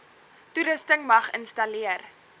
toerusting mag installeer